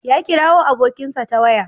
Ya kirawo abokinsa ta waya.